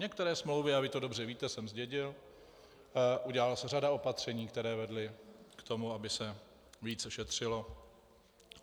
Některé smlouvy, a vy to dobře víte, jsem zdědil, udělala se řada opatření, která vedla k tomu, aby se více šetřilo.